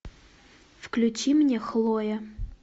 включи мне хлоя